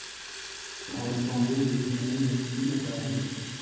Það var eins og hún lifði í sínum eigin ímyndaða heimi.